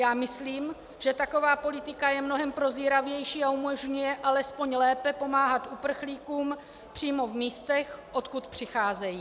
Já myslím, že taková politika je mnohem prozíravější a umožňuje alespoň lépe pomáhat uprchlíkům přímo v místech, odkud přicházejí.